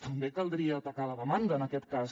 també caldria atacar la demanda en aquest cas